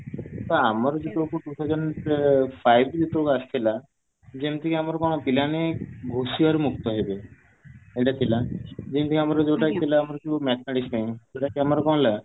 ତ ଆମର ସେତେବେଳକୁ two thousand five ରେ ଯେତେବେଳକୁ ଆସିଥିଲା ଯେମିତି କି ଆମର ମାନେ ପିଲାମାନେ ଘୋଷିବାରୁ ମୁକ୍ତ ହେବେ ଯେମିତି କି ଆମର ଯୋଉ ଥିଲା mathematics ପାଇଁ